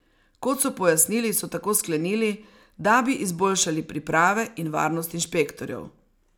Kot so pojasnili, so tako sklenili, da bi izboljšali priprave in varnost inšpektorjev.